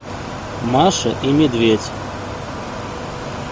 маша и медведь